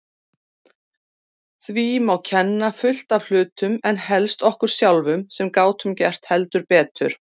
Því má kenna fullt af hlutum en helst okkur sjálfum sem gátum gert heldur betur.